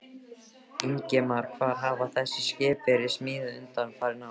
Ingimar: Hvar hafa þessi skip verið smíðuð undanfarin ár?